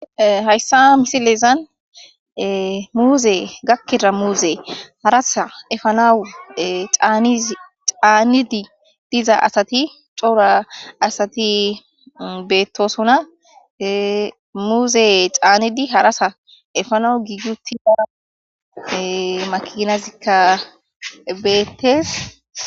hayssa misilezan muuze gakkida muuze harasa efanawu a caanidi diza asati coora asati beettosuna muuze caannidi harasa efanawu giiguti hana makinazikka beettees